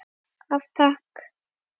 Af Takk.